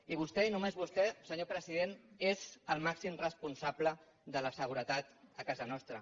i vostè i només vostè senyor president és el màxim responsable de la seguretat a casa nostra